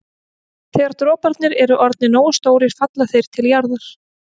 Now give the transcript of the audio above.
Þegar droparnir eru orðnir nógu stórir falla þeir til jarðar.